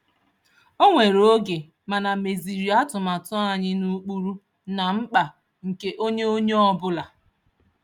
O were oge, mana meziri atụmatụ anyị n'ụkpụrụ na mkpa nke onye onye ọbụla.